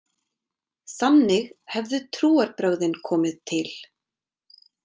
Þannig hefðu trúarbrögðin komið til.